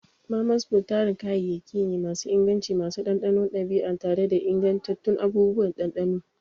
Mama's food tarin kayayyaki ne masu inganci, masu ɗanɗanon ɗabi'a tare da ingantattun abubuwan ɗanɗano.